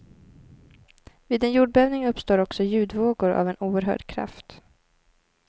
Vid en jordbävning uppstår också ljudvågor av en oerhörd kraft.